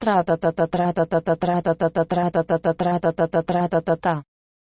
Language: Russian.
тратата тратата тратата тратата тратата трататата